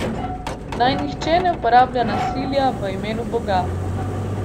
Naj nihče ne uporablja nasilja v imenu Boga.